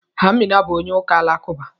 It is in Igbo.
Amina bụ onye ụka Alakụba.